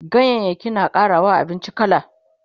ganyayaki na ƙarawa abinci kala